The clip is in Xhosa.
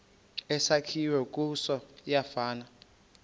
esakhiwe kuso siyafana